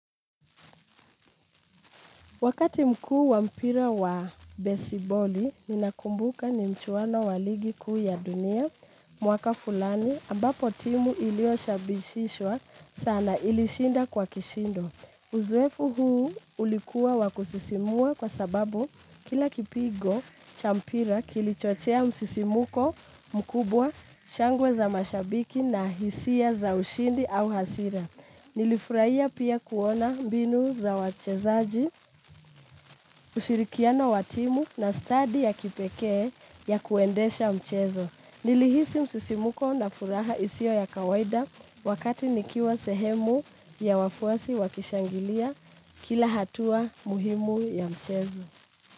Wakati mkuu wa mpira wa besiboli, ninakumbuka ni mchuano wa ligi kuu ya dunia, mwaka fulani, ambapo timu ilioshabishishwa sana ilishinda kwa kishindo. Uzoefu huu ulikuwa wa kusisimua kwa sababu kila kipigo, cha mpira kilichochea msisimuko mkubwa, shangwe za mashabiki na hisia za ushindi au hasira. Nilifurahia pia kuona mbinu za wachezaji ushirikiano wa timu na stadi ya kipekee ya kuendesha mchezo. Nilihisi msisimuko na furaha isio ya kawaida wakati nikiwa sehemu ya wafuasi wakishangilia kila hatua muhimu ya mchezo.